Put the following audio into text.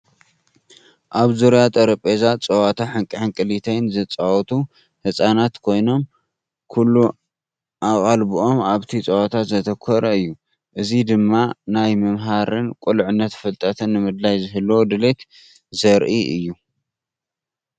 ኣብ ዙርያ ጠረጴዛ ጸወታ ሕንቅልሕንቅሊተይ ዝጻወቱ ህጻናት ኮይኖም፡ ኩሉ ኣቓልቦኦም ኣብቲ ጸወታ ዘተኮረ እዩ። እዚ ድማ ናይ ምምሃርን ቁልዕነትን ፍልጠት ንምድላይ ዝህልዎ ድሌት ዘርኢ እዩ።